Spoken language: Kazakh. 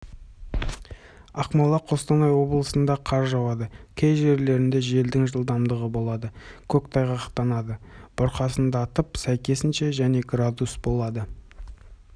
ақмола қостанай облысында қар жауады кей жерлерінде желдің жылдамдығы болады көктайғақтанады бұрқасындатып сәйкесінше және градус болады